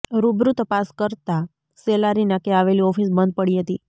રૂબરૂ તપાસ કરતા સેલારી નાકે આવેલી ઓફીસ બંધ પડી હતી